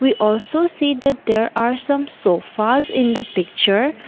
we also see that there are some sofas in the picture.